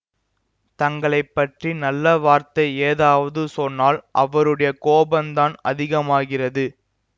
தங்களை பற்றி நல்ல வார்த்தை ஏதாவது சொன்னால் அவருடைய கோபந்தான் அதிகமாகிறது